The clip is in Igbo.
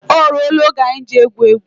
O rụọ la oge anyị ji egwu égwu